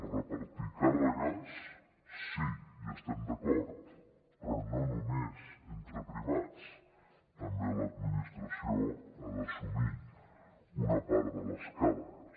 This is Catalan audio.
repartir càrregues sí hi estem d’acord però no només entre privats també l’administració ha d’assumir una part de les càrregues